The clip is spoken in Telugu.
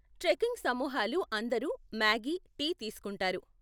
ట్రెకింగ్ సమూహాలు అందరు మాగీ, టీ తీస్కుంటారు.